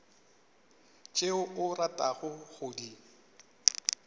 tšeo o ratago go di